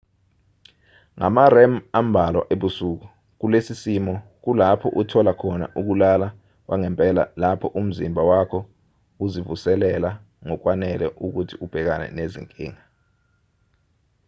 ngama-rem ambalwa ebusuku kulesi simo kulapho uthola khona ukulala kwangempela lapho umzimba wakho uzivuselela ngokwanele ukuthi ubhekane nezinkinga